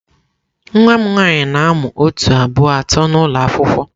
Nwa m nwanyị na-amụ otu, abụọ, atọ n'ụlọ akwụkwọ.